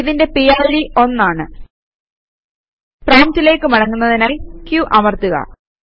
ഇതിന്റെ പിഡ് 1 ആണ് പ്രോംപ്റ്റിലേക്ക് മടങ്ങുന്നതിനായി q അമർത്തുക